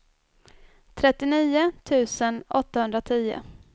trettionio tusen åttahundratio